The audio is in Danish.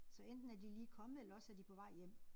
Så enten er de lige kommet eller også er de på vej hjem